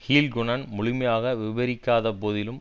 ஹுல்கொனன் முழுமையாக விபரிக்காத போதிலும்